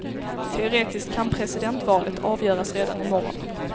Teoretiskt kan presidentvalet avgöras redan i morgon.